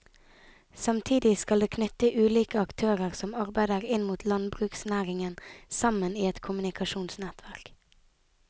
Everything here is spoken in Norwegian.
Samtidig skal det knytte ulike aktører som arbeider inn mot landbruksnæringen sammen i et kommunikasjonsnettverk.